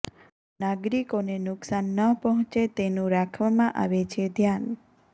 નાગરિકોને નુકશાન ન પહોંચે તેનું રાખવામાં આવે છે ધ્યાન